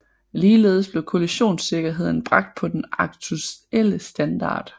Ligeledes blev kollisionsikkerheden bragt på den aktuelle standard